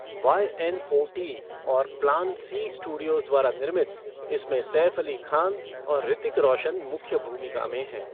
Y N O T और plan C studios द्वारा निर्मित, इसमें सैफ़ अली खान और ऋतिक रोशन मुख्य भूमिका में हैं।